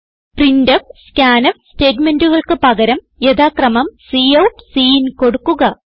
printf scanf സ്റ്റേറ്റ്മെന്റുകൾക്ക് പകരം യഥാക്രമം കൌട്ട് സിൻ കൊടുക്കുക